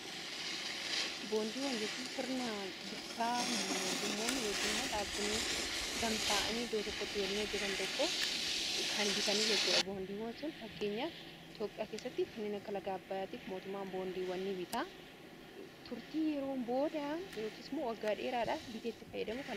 Boondiiwwan jechuun sirna bittaa mootummoonni ykn immoo dhaabonni gamta’anii iddoo tokkotti waliin hojjetan tokko kan bitanii jechuudha boondiiwwan sun fakkeenyaa f iitoophiyaa keessatti kannina kalagaa bayaatiif mootummaan boondiiw wanni bitaa turtii yeroo booda yooksmu waggaa dheeraadhaaf bitee itti fayyadamudha.